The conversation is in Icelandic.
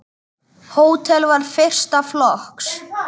Hótelið var fyrsta flokks.